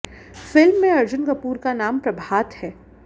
film में अर्जुन कपूर का नाम प्रभात है